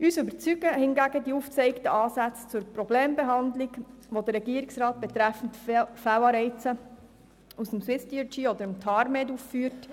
Uns überzeugen hingegen die aufgezeigten Ansätze zur Problembehandlung, die der Regierungsrat betreffend Fehlanreize aufgrund von SwissDRG oder TARMED aufführt.